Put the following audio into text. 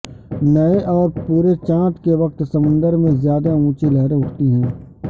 نئے اور پورے چاند کے وقت سمندر میں زیادہ اونچی لہریں اٹھتی ہیں